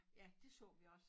Ja dét så vi også